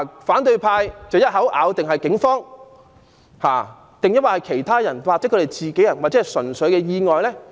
反對派一口咬定是警方造成，但亦有可能是被其他示威者弄傷，或者純屬意外。